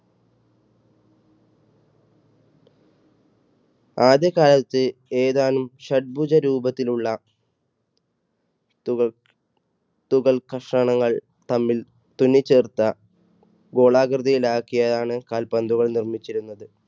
ആദ്യകാലത്ത് ഏതാനും ഷഡ്ഭുജ രൂപത്തിലുള്ള തുകൽ, തുകൽ കഷ്ണങ്ങൾ തമ്മിൽ തുന്നി ചേർത്ത ഗോളാകൃതിയിൽ ആക്കിയാണ് കാൽപന്തുകൾ നിർമ്മിച്ചിരുന്നത്